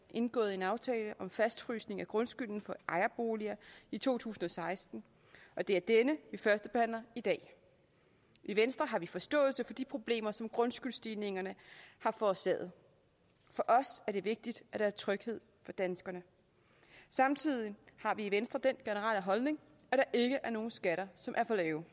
indgået en aftale om fastfrysning af grundskylden for ejerboliger i to tusind og seksten og det er den vi førstebehandler i dag i venstre har vi forståelse for de problemer som grundskyldsstigningerne har forårsaget for os er det vigtigt at der er tryghed for danskerne samtidig har vi i venstre den holdning at der ikke er nogen skatter som er for lave